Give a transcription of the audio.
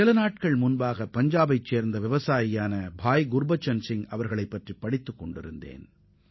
சில தினங்களுக்கு முன் பஞ்சாபை சேர்ந்த குர்பச்சன் சிங் என்ற விவசாய சகோதரரை பற்றி படித்தேன்